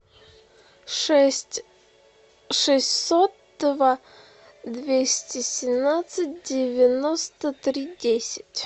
шесть шестьсот два двести семнадцать девяносто три десять